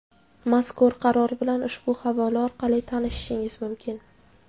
Mazkur Qaror bilan ushbu havola orqali tanishishingiz mumkin.